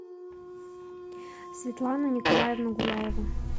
светлану николаевну гуляеву